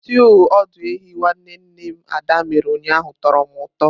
Stúu ọdụ ehi nwanne nne m Ada mere ụnyaahụ tọrọ m ụtọ.